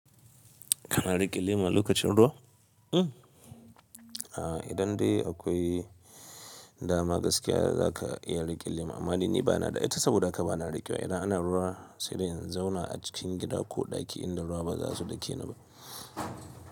Kana riƙe laima lokacin ruwa? Idan dai akwai dama gaskiya za ka iya riƙe lema. Amma ni bana da ita saboda haka bana riƙewa. Idan ana ruwa sai dai in zauna a cikin gida ko ɗaki inda ruwa ba za su dake ni ba.